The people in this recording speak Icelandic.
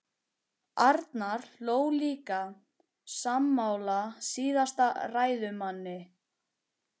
Arnar hló líka, sammála síðasta ræðumanni.